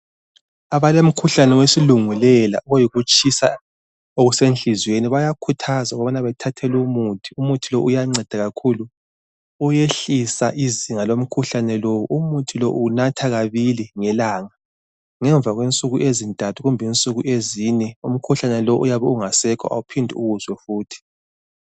Abalomkhuhlane wesilungulela ohuyikuyitshisa enhliziyweni bayakhuthazwa ukubana bethathelowumuthi umuthi lowu uyancedakakhulu uyehlisa izinga lomkhuhlane lowu, umuthi lowu uwunathakabili ngelanga ngemva kwensuku ezintathu kumbe ezine umkhuhlane lowu awuphinde uwuzwe futhi